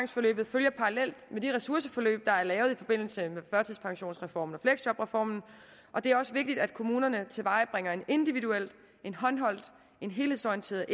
følger parallelt med de ressourceforløb der er lavet i forbindelse med førtidspensionsreformen og fleksjobreformen og det er også vigtigt at kommunerne tilvejebringe en individuel håndholdt helhedsorienteret